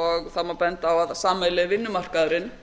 og það má benda á að sameiginlegi vinnumarkaðurinn